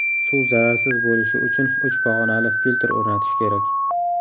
Suv zararsiz bo‘lishi uchun uch pog‘onali filtr o‘rnatish kerak.